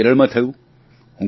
તેવું જ કેરળમાં થયું